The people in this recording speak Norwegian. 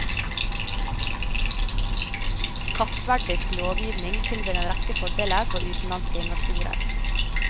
Kappverdisk lovgivning tilbyr en rekke fordeler for utenlandske investorer.